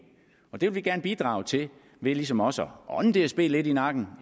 det vil vi gerne bidrage til ved ligesom også at ånde dsb lidt i nakken